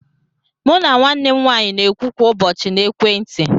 Mụ na nwanne m nwaanyị n'okwu kwa ụbọchị na ekwentị.